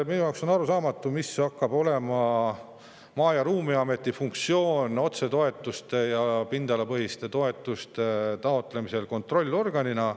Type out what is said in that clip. Minu jaoks on arusaamatu, mis hakkab olema Maa‑ ja Ruumiameti funktsioon otsetoetuste ja pindalapõhiste toetuste taotlemise kontrollorganina.